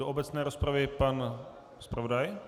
Do obecné rozpravy pan zpravodaj.